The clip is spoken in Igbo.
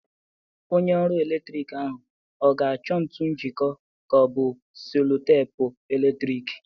Onye ọrụ eletrik ahụ ọ ga-achọ ntu njịkọ ka ọ bụ selo teepu eletrik?